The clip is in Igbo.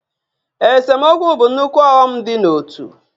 Esemokwu bụ nnukwu ọghọm dị n'ótú